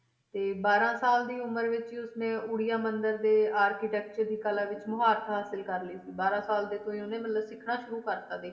ਤੇ ਬਾਰਾਂ ਸਾਲ ਦੀ ਉਮਰ ਵਿੱਚ ਹੀ ਉਸਨੇ ਉੜੀਆ ਮੰਦਿਰ ਦੇ architecture ਦੀ ਕਲਾ ਵਿੱਚ ਮੁਹਾਰਤ ਹਾਸਿਲ ਕਰ ਲਈ ਸੀ, ਬਾਰਾਂ ਸਾਲ ਦੇ ਤੋਂ ਹੀ ਉਹਨੇ ਮਤਲਬ ਸਿੱਖਣਾ ਸ਼ੁਰੂ ਕਰ ਦਿੱਤਾ ਦੇਖ,